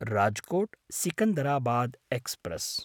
राजकोट्–सिकन्दराबाद् express